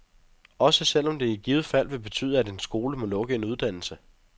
Også selv om det i givet fald vil betyde, at en skole må lukke en uddannelse.